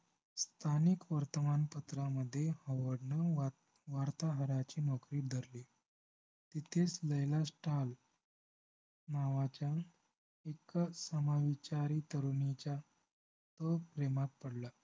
स्थानिक वर्तमानपत्रामध्ये ओडन वार्तावराची नौकरी धरली तिथेच लैला STALL नावाच्या इतकं समविचारी तरुणीच्या तो प्रेमात पडला